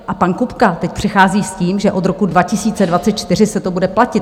A pan Kupka teď přichází s tím, že od roku 2024 se to bude platit.